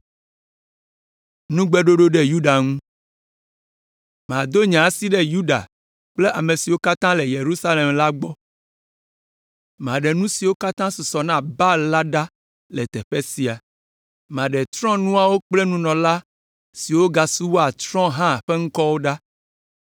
“Mado nye asi ɖe Yuda kple ame siwo katã le Yerusalem la gbɔ. Maɖe nu siwo katã susɔ na Baal la ɖa le teƒe sia; maɖe trɔ̃nuawo kple nunɔla siwo gasubɔa trɔ̃ hã ƒe ŋkɔwo ɖa,